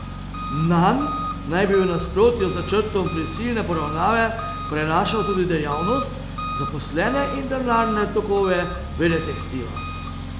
Nanj naj bi v nasprotju z načrtom prisilne poravnave prenašal tudi dejavnost, zaposlene in denarne tokove Veletekstila.